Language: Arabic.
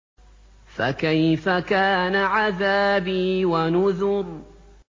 فَكَيْفَ كَانَ عَذَابِي وَنُذُرِ